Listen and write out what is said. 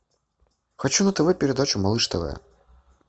хочу на тв передачу малыш тв